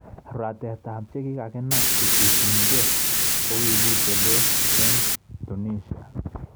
Ratetab chekikakinam kocbuchunikei kokikitelel eng Tunisia